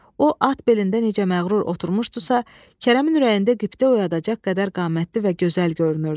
O, at belində necə məğrur oturmuşdusa, Kərəmin ürəyində qibtə oyadacaq qədər qamətli və gözəl görünürdü.